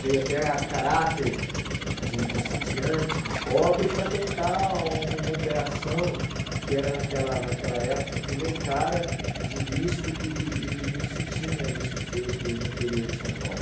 veio até a caráter de de sitiante, de pobre, para tentar uma operação que era naquela naquela época primeiro cara de risco e e e não se tinha isso feito no interior de São Paulo.